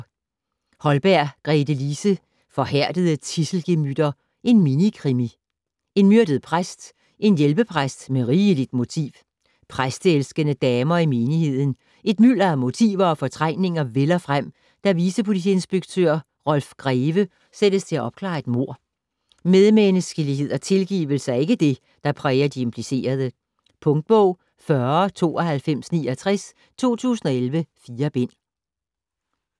Holm, Gretelise: Forhærdede tidselgemytter: minikrimi En myrdet præst. En hjælpepræst med rigeligt motiv. Præsteelskende damer i menigheden. Et mylder af motiver og fortrængninger vælder frem, da vicepolitiinspektør Rolf Greve sættes til at opklare et mord. Medmenneskelighed og tilgivelse er ikke det, der præger de implicerede. Punktbog 409269 2011. 4 bind.